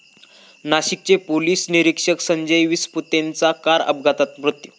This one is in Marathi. नाशिकचे पोलीस निरीक्षक संजय विसपुतेंचा कार अपघातात मृत्यू